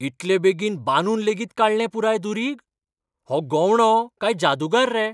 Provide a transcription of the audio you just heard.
इतलें बेगीन बांदून लेगीत काडलें पुराय दुरीग? हो गवंडो काय जादूगार रे?